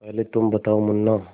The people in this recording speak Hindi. पहले तुम बताओ मुन्ना